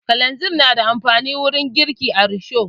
Kalanzir na da amfani wurin girki da risho